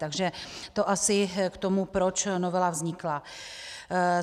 Takže to asi k tomu, proč novela vznikla.